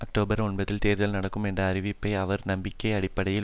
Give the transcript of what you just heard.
அக்டோபபர் ஒன்பதில் தேர்தல் நடக்கும் என்ற அறிவிப்பை அவர் நம்பிக்கை அடிப்படையில்